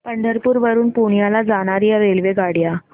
पंढरपूर वरून पुण्याला जाणार्या रेल्वेगाड्या